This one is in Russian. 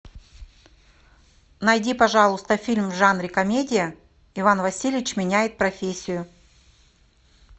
найди пожалуйста фильм в жанре комедия иван васильевич меняет профессию